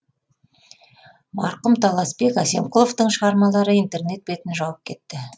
марқұм таласбек әсемқұловтың шығармалары интернет бетін жауып кетті